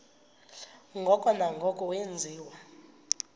ngoko nangoko wenziwa